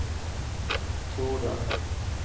torde